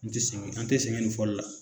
N te sɛŋɛ an tɛ sɛŋɛ nin fɔli la.